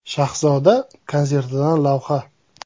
Shahzoda konsertidan lavha.